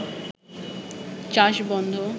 চাষ বন্ধ